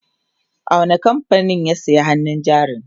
a wani kamfanin ya saya hannun jarin?